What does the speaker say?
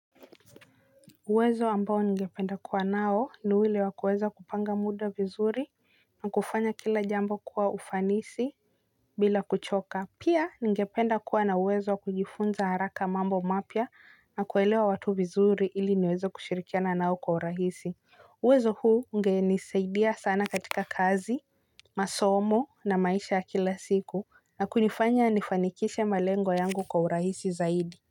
Uwezo ambao ningependa kuwa nao ni ule wa kuweza kupanga muda vizuri na kufanya kila jambo kwa ufanisi bila kuchoka. Pia ningependa kuwa na uwezo wa kujifunza haraka mambo mapya na kuelewa watu vizuri ili niweze kushirikiana nao kwa urahisi. Uwezo huu ungenisaidia sana katika kazi, masomo na maisha ya kila siku na kunifanya nifanikishe malengo yangu kwa urahisi zaidi.